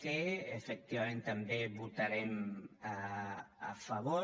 c efectivament també hi votarem a favor